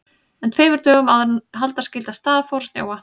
En tveimur dögum áður en halda skyldi af stað fór að snjóa.